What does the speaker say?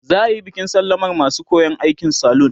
za'ayi bikin sallamar masu koyan aikin salun